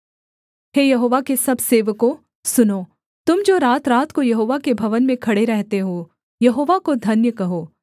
हे Jehovah के सब सेवकों सुनो तुम जो रातरात को यहोवा के भवन में खड़े रहते हो यहोवा को धन्य कहो